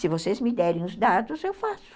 Se vocês me derem os dados, eu faço.